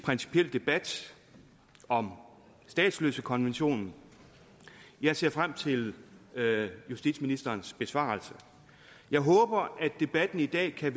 principiel debat om statsløsekonventionen og jeg ser frem til justitsministerens besvarelse jeg håber at debatten i dag kan